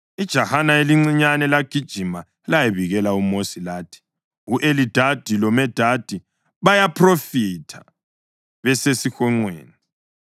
Ijahana elincinyane lagijima layabikela uMosi lathi, “U-Elidadi loMedadi bayaphrofitha besesihonqweni.”